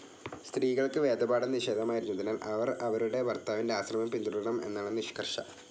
സ്ത്രീകൾക്ക് വേദപാഠം നിഷേധമായിരുന്നതിനാൽ അവർ അവരുടെ ഭർത്താവിൻ്റെ ആശ്രമം പിന്തുടരണം എന്നാണ് നിഷ്കർഷ.